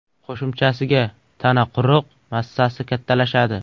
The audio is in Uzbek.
Qo‘shimchasiga, tana quruq massasi kattalashadi.